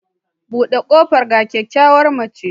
Bude kofa ga kyakkyawar mace